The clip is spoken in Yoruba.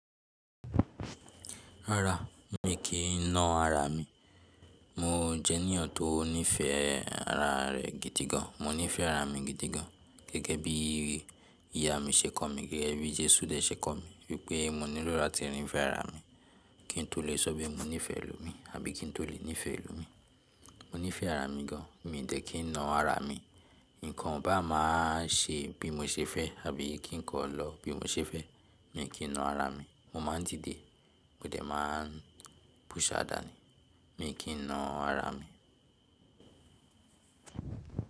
Rárá, mi kì í na ara mi. Mo jẹ́ ènìyàn tó nífẹ̀ẹ́ ara rẹ̀ gidi gan. Mo nífẹ̀ẹ́ ara mi gidi gan, gẹ́gẹ́ bí ìyá mi ṣe kọ́ mi, gẹ́gẹ́ bí Jésù dẹ̀ ṣe kọ́ mi, wípé mo ní lò lá ti rìn fẹ́ ara mi, kí n tó lè ṣọ́ bí mo nífẹ̀ẹ́ ẹlòmí, àbí kí n tó lè nífẹ̀ẹ́ ẹlòmí. Mo nífẹ̀ẹ́ ara mi gan, mi dẹ̀ kí n na ara mi. Ǹkan bá máa ṣe bí mo ṣe fẹ́, àbí kí ǹkan lọ bí mo ṣe fẹ́, mi kì í na ara mi. Mo máa dìde, mo dẹ̀ máa push á dànù, mi kì í na ara mi.